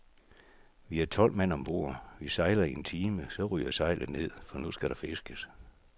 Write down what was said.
Vi er tolv mand om bord, vi sejler i en time, så ryger sejlet ned, for nu skal der fiskes.